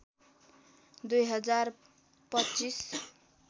२ हजार २५